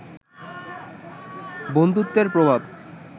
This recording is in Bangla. বন্ধুত্বে এর প্রভাব